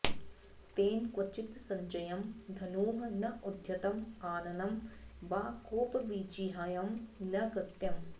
तेन क्वचित् सज्यं धनुः न उद्यतम् आननं वा कोपविजिह्यं न कृतम्